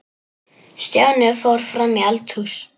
Stjáni fór fram í eldhús.